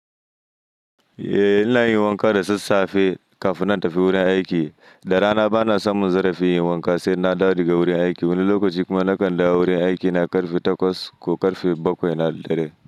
Eh, ina yin wanka da sassafe kafin na tafi wurin aiki. Da rana bana samun zarafi yin wanka sai na dawo daga wurin aiki. Wani lokaci kuma nakan dawo wurin aiki na karfe takwas ko karfe bakwai na dare.